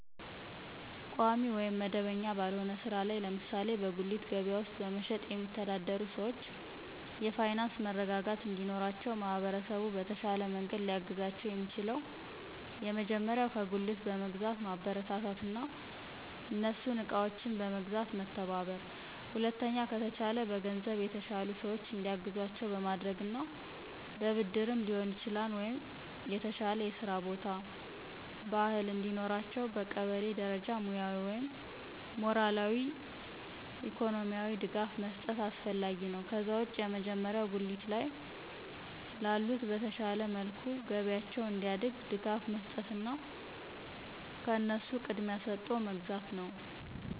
ቋሚ ወይም መደበኛ ባልሆነ ሥራ ላይ ለምሳሌ በጉሊት ገበያ ውስጥ በመሸጥ የሚተዳደሩ ሰዎች የፋይናንስ መረጋጋት እንዲኖራቸው ማህበረሰቡ በተሻለ መንገድ ሊያግዛቸው የሚችለው የመጀመሪያው ከጉልት በመግዛት ማበረታታትና እነሱን እቃዎችን በመግዛት መተባበር። ሁለተኛ ከተቻለ በገንዘብ የተሻሉ ሰዎች እንዲያግዟቸው በማድረግና በብድርም ሊሆን ይችላል ወይ የተሻለ የስራ ቦታ፣ ባህል እንዲኖራቸው በቀበሌ ደረጃ ሙያዊ ወይም ሞራላዊ፣ ኢኮኖሚካሊ ድጋፍ መስጠት አስፈላጊ ነው። ከዛ ውጭ የመጀመሪያው ጉሊት ላይ ላሉት በተሻለ መልኩ ገበያቸው እንዲያድግ ድጋፍ መስጠትና ከነሱ ቅድሚያ ሰጦ መግዛት ነው።